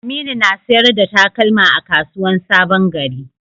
Aminu na sayar da takalma a kasuwan sabon gari.